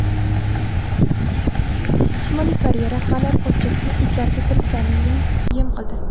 Shimoliy Koreya rahbari pochchasini itlarga tiriklayin yem qildi.